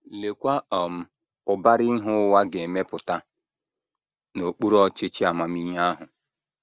Leekwa um ụbara ihe ụwa ga - emepụta n’okpuru ọchịchị amamihe ahụ!